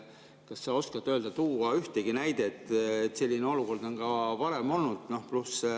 Kas sa oskad tuua näidet, kui selline olukord on varem olnud?